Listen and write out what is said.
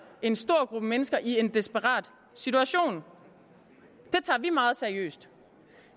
en stor gruppe mennesker i en desperat situation det tager vi meget seriøst